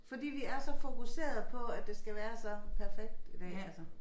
Fordi vi er så fokuserede på at det skal være så perfekt i dag altså